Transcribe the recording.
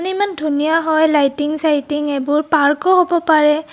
ইমান ধুনীয়া হয় লাইটিং চাইটিং এইবোৰ পাৰ্ক ও হ'ব পাৰে.